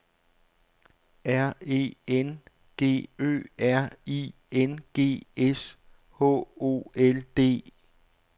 R E N G Ø R I N G S H O L D